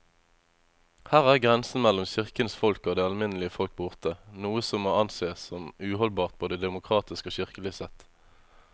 Her er grensen mellom kirkens folk og det alminnelige folk borte, noe som må ansees som uholdbart både demokratisk og kirkelig sett.